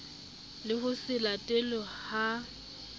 le ho se latelwe ha